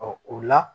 o la